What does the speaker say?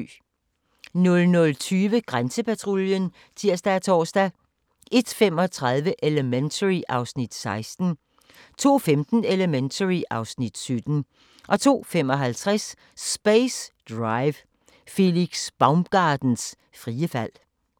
00:20: Grænsepatruljen (tir og tor) 01:35: Elementary (Afs. 16) 02:15: Elementary (Afs. 17) 02:55: Space Dive - Felix Baumgartners frie fald